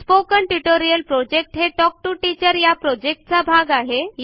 spoken tutorial project हे talk to teacher या प्रॉजेक्टचा भाग आहे